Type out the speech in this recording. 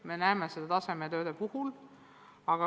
Me näeme seda ka tasemetööde puhul.